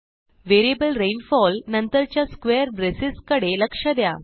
variable rainfall नंतरच्या square braces कडे लक्ष द्या